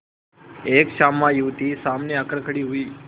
एक श्यामा युवती सामने आकर खड़ी हुई